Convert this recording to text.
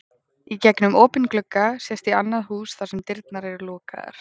Í gegnum opinn glugga sést í annað hús þar sem dyrnar eru lokaðar.